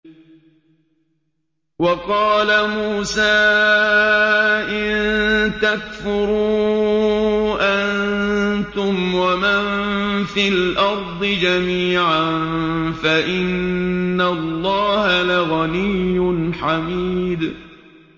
وَقَالَ مُوسَىٰ إِن تَكْفُرُوا أَنتُمْ وَمَن فِي الْأَرْضِ جَمِيعًا فَإِنَّ اللَّهَ لَغَنِيٌّ حَمِيدٌ